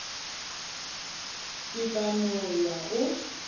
ke tla no ya go